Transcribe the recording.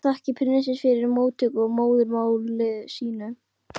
Því næst þakkaði prinsinn fyrir móttökurnar á móðurmáli sínu.